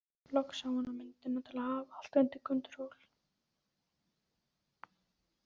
Loks sá hann myndina til að hafa allt undir kontról.